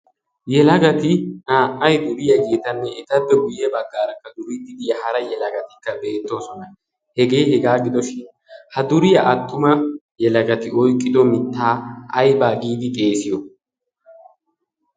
Yelagati naa"ay duriyageetanne etappe guye baggaarakka duriidi diya hara yelagatikka beettoosona. Hegee hegaa gidoshin ha duriya attuma yelagati oyiqido mittaa ayiba giidi xeesiyo?